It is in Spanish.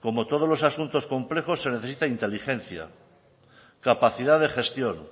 como todos los asuntos complejos se necesita inteligencia capacidad de gestión